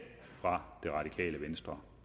fra det radikale venstre